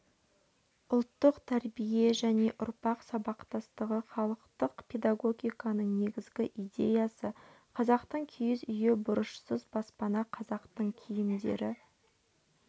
ұлттық тәрбие және ұрпақ сабақтастығы халықтық педагогиканың негізгі идеясы қазақтың киіз үйі бұрышсыз баспана қазақтың киімдері